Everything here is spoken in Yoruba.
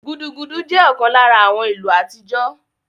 Gudugudu jẹ́ ọ̀kan lára àwọn ìlù àtijọ́